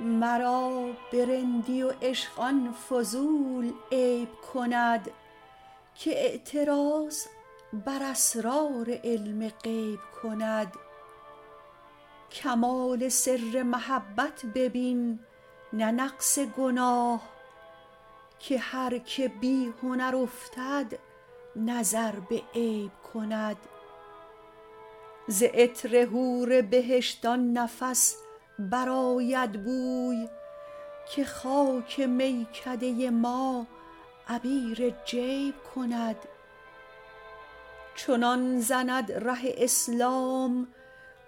مرا به رندی و عشق آن فضول عیب کند که اعتراض بر اسرار علم غیب کند کمال سر محبت ببین نه نقص گناه که هر که بی هنر افتد نظر به عیب کند ز عطر حور بهشت آن نفس برآید بوی که خاک میکده ما عبیر جیب کند چنان زند ره اسلام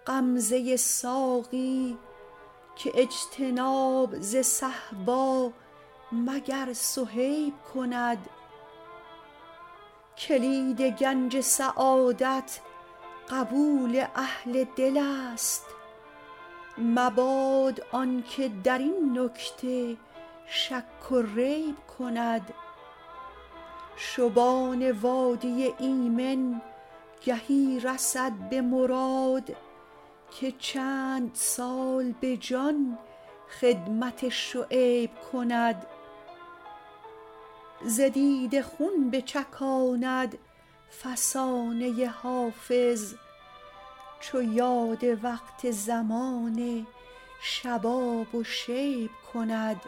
غمزه ساقی که اجتناب ز صهبا مگر صهیب کند کلید گنج سعادت قبول اهل دل است مباد آن که در این نکته شک و ریب کند شبان وادی ایمن گهی رسد به مراد که چند سال به جان خدمت شعیب کند ز دیده خون بچکاند فسانه حافظ چو یاد وقت زمان شباب و شیب کند